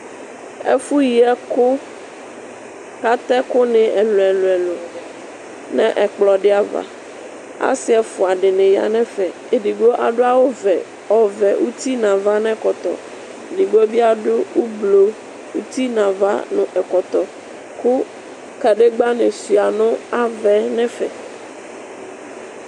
Ɛfʋyi ɛkʋ kʋ atɛ ɛkʋni ɛlʋ ɛlʋ nʋ ɛkplɔ di ava asi efʋa dini yanʋ ɛfɛ edigbo adʋ awʋ ɔvɛ uti nʋ ava nʋ ekɔtɔ edigbo bibadʋ ʋblɔ uti nʋ ava nʋ ɛkɔtɔ kʋ kadegba ni suia nʋ ava nʋ ɛfɛ